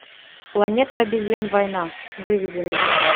планета обезьян война выведи мне